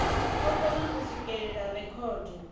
o kona u swikelela rekhodo